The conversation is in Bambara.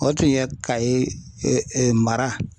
O tun ye Kayo ee mara